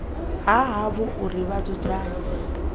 ha havho uri vha dzudzanye